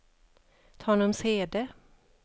Tanumshede